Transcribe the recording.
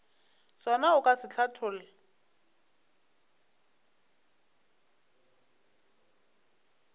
sona o ka se hlatholla